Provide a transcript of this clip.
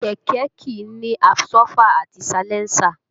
Kẹ̀kẹ́ kìí ní àbsọ́fà àti salẹńsà